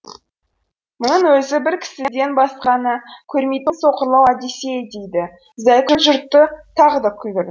мұның өзі бір кісіден басқаны көрмейтін соқырлау одиссей дейді зайкүл жұртты тағы ду күлдіріп